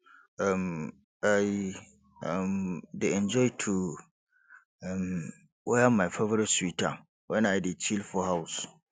um i um dey enjoy to um wear my favorite sweater wen i dey chill for house